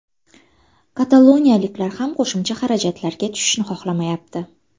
Kataloniyaliklar ham qo‘shimcha xarajatlarga tushishni xohlamayapti.